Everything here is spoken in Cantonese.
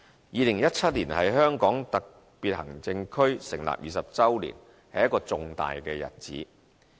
2017年是香港特別行政區成立20周年，是一個重大日子。